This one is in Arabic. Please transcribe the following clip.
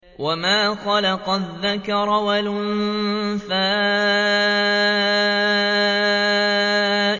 وَمَا خَلَقَ الذَّكَرَ وَالْأُنثَىٰ